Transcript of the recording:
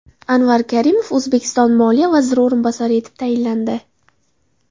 Anvar Karimov O‘zbekiston moliya vaziri o‘rinbosari etib tayinlandi.